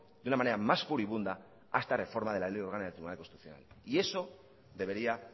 de una manera más furibunda a esta reforma de la ley orgánica del tribunal constitucional y eso debería